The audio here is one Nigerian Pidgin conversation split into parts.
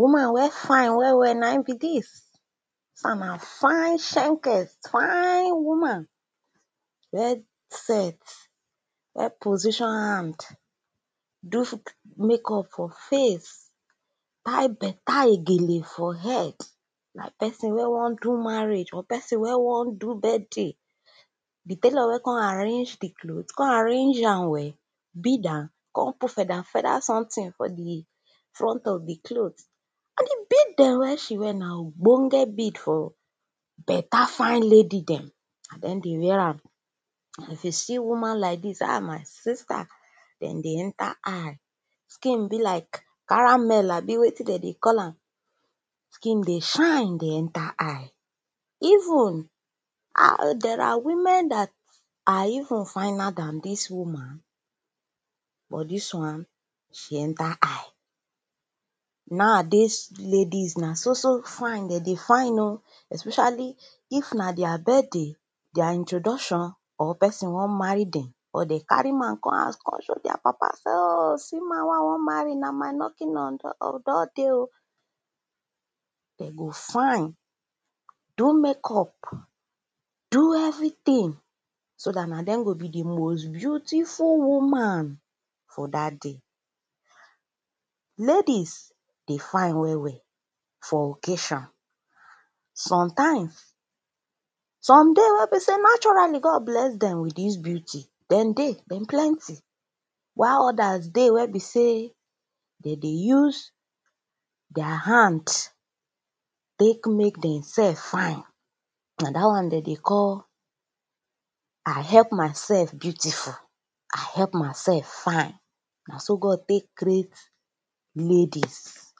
woman wen fine well well na n be dis di won na fine shenkes fine woman, well set, well position hand do makeup for face tie beta igele for head like pesin wey won do marriage wey won do birthday, di tailor wen kon arrange di cloth, kon arrange am well bead am, kon put feader feader sometin for di front of di cloth and di bead wen she wear na ogbonge bid for beta fine lady dem na dem dey wear am. and if you see woman like dis ah my sister, den dey enter eye. skin be like caramel abi wetin dem dey call am, skin dey shine dey enter eye even there are women dat are even finer dan dis woman but dis wan, she enter eye. naow dis ladies na so so fine den dey fine oh especially if na their birthday, their introduction or pesin won marry dem go carry man come hous kon show their papa oh see man wen i won marry na my lucky man don dey, dem go fine do makeup do everytin so dat na dem go be di most beautiful woman for dat day. ladies dey fine well well for occasion. sometimes, some dey wey be say naturally God bless dem with dis beauty dem dey, dem plenty while others dey wey be sey dem dey use their hand tek mek dem self fine. na dat won de dey call i help myself beautiful, i help myself fine na so God tek crat ladies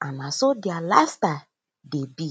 and na so their life style dey be.